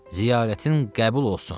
Ziyarətin qəbul olsun.